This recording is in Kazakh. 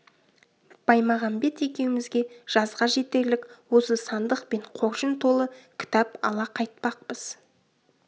баймағамбет екеумізге жазға жетерлік осы сандық пен қоржын толы кітап ала қайтпақпыз